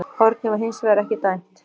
Hornið var hins vegar ekki dæmt